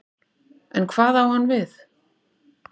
En hvað á hann við?